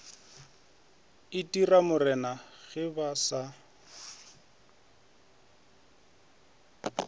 itira morena ge ba sa